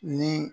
Ni